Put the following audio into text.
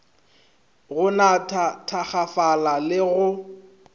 go natha thakgafala le go